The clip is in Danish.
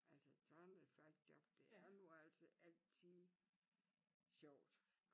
Altså sådan et Falck job det er nu altså altid sjovt